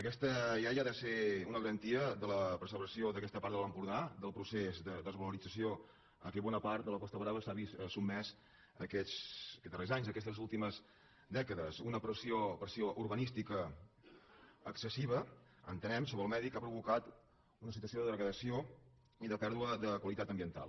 aquesta llei ha de ser una garantia per a la preservació d’aquesta part de l’empordà del procés de desvalorit·zació a què bona part de la costa brava s’ha vist sotme·sa aquests darrers anys aquestes últimes dècades una pressió urbanística excessiva entenem sobre el medi que ha provocat una situació de degradació i de pèr·dua de qualitat ambiental